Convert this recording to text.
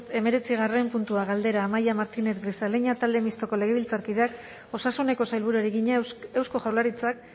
hemezortzigarren puntua galdera amaia martínez grisaleña talde mistoko legebiltzarkideak osasuneko sailburuari egina eusko jaurlaritzak